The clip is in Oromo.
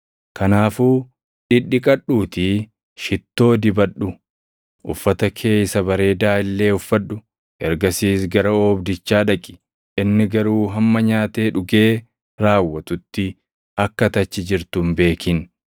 Kanaafuu dhidhiqadhuutii shittoo dibadhu; uffata kee isa bareedaa illee uffadhu. Ergasiis gara oobdichaa dhaqi; inni garuu hamma nyaatee dhugee raawwatutti akka ati achi jirtu hin beekin.